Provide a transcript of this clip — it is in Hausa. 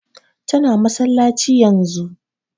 Ta na masallaci yanzun